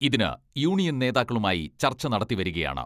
ഇതിന് യൂണിയൻ നേതാക്കളുമായി ചർച്ച നടത്തിവരികയാണ്.